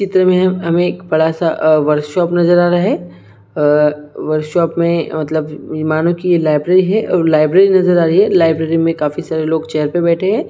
इस चित्र मे हमे एक बड़ा सा एक वर्क शॉप नजर आ रहा है वर्क शॉप मे मतलब मानो की एक लाइब्रेरी है और लाइब्रेरी नजर आ रही हैं लाइब्रेरी मे बहोत सारे लोग नजर आ रहे हैं।